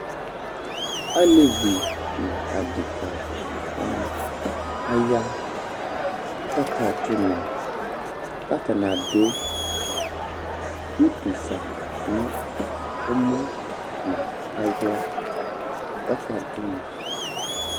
Alevɩ nu aɖeka wanɩ aya kaka ɖu unɔ, katanɩ aɖu utu fa nu ɔmɔ nu aɣla kaka ɖu nɔ